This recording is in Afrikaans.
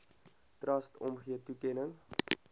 trust omgee toekenning